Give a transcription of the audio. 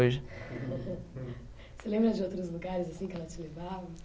hoje. Você lembra de outros lugares assim que ela te levava?